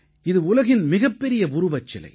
இது உலகின் மிகப்பெரிய உருவச்சிலை